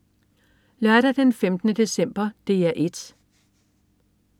Lørdag den 15. december - DR 1: